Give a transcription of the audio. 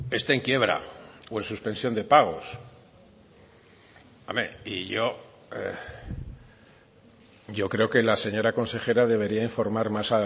esté en quiebra o en suspensión de pagos hombre y yo creo que la señora consejera debería informar más